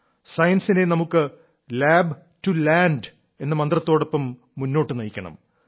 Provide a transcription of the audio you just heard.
സയൻസിനെ നമുക്ക് lab to land എന്ന മന്ത്രത്തോടൊപ്പം മുന്നോട്ടു നയിക്കണം